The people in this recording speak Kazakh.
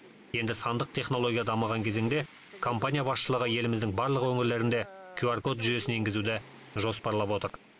енді сандық технология дамыған кезеңде компания басшылығы еліміздің барлық өңірлерінде кюар код жүйесін енгізуді жоспарлап отыр